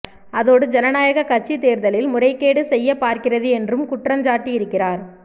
அதோடு ஜனநாயக கட்சி தேர்தலில் முறைகேடு செய்ய பார்க்கிறது என்றும் குற்றஞ்சாட்டி இருக்கிறார்